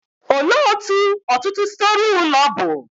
Olee otú ọtụtụ storey ụlọ bụ?